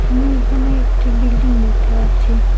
আমি এখানে একটি বিল্ডিং দেখতে পাচ্ছি।